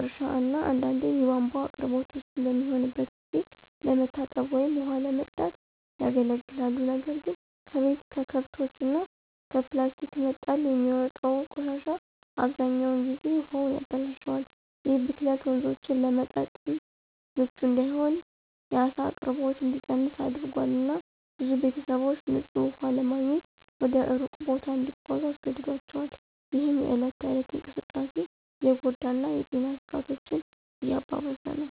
እርሻ እና አንዳንዴም የቧንቧ አቅርቦት ውስን በሚሆንበት ጊዜ ለመታጠብ ወይም ውሃ ለመቅዳት ያገለግላሉ። ነገር ግን ከቤት፣ ከከብቶች እና ከፕላስቲክ መጣል የሚወጣው ቆሻሻ አብዛኛውን ጊዜ ውሃውን ያበላሻል። ይህ ብክለት ወንዞቹን ለመጠጥ ምቹ እንዳይሆን፣ የዓሳ አቅርቦት እንዲቀንስ አድርጓል፣ እና ብዙ ቤተሰቦች ንፁህ ውሃ ለማግኘት ወደ ሩቅ ቦታ እንዲጓዙ አስገድዷቸዋል፣ ይህም የእለት ተእለት እንቅስቃሴን እየጎዳ እና የጤና ስጋቶችን እያባባሰ ነው።